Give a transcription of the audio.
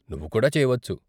నువ్వు కూడా చేయవచ్చు.